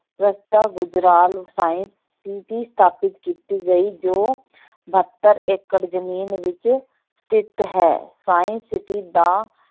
Gujral science city ਸਥਾਪਿਤ ਕੀਤੀ ਗਈ ਜੋ ਬਹੱਤਰ ਏਕੜ ਜ਼ਮੀਨ ਵਿੱਚ ਸਥਿਤ ਹੈ science city ਦਾ